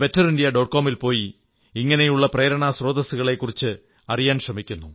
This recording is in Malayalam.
com ൽപോയി ഇങ്ങനെയുള്ള പ്രേരണാസ്രോതസ്സുകളെക്കുറിച്ച് അറിയാൻ ശ്രമിക്കുന്നു